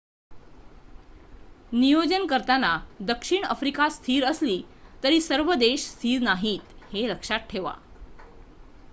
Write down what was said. नियोजन करताना दक्षिण आफ्रिका स्थिर असली तरी सर्व शेजारी देश स्थिर नाहीत हे लक्षात ठेवा